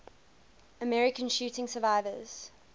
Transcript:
american shooting survivors